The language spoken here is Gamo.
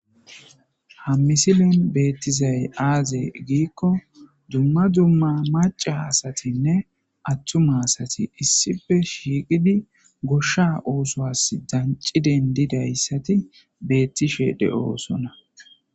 Ha misilen betizay aze gikko duma duma maca asatine attuma asati issippe shiqidi gosha othosi danci dendidaysati betishe de'osona